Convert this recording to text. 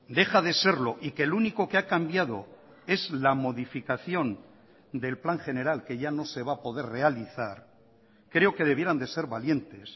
deja de serlo y que el único que ha cambiado es la modificación del plan general que ya no se va a poder realizar creo que debieran de ser valientes